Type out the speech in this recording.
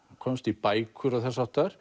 komst í bækur og þess háttar